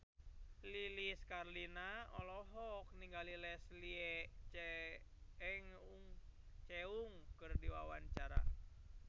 Lilis Karlina olohok ningali Leslie Cheung keur diwawancara